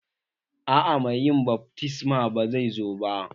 Aa mai yin baftisman ba zai zo ba